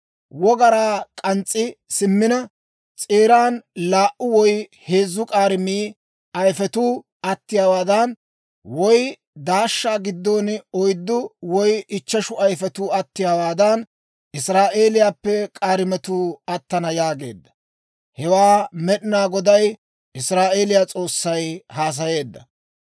Wogaraa k'aatsi simmina, s'eeran laa"u woy heezzu k'aarime ayifetuu attiyaawaadan, woy daashshaa giddon oyddu woy ichcheshu ayifetuu attiyaawaadan, Israa'eeliyaappe k'aarimetuu attana» yaageedda. Hewaa Med'inaa Goday, Israa'eeliyaa S'oossay haasayeedda.